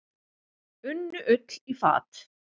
Unnu Ull í fat.